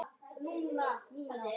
Núna ertu horfin mér frá.